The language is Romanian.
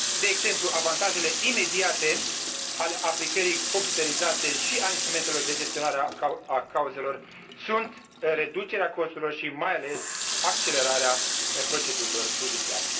exemplu, avantajele imediate ale aplicării computerizate și ale instrumentelor de gestionare a cauzelor sunt reducerea costurilor și mai ales accelerarea procedurilor judiciare.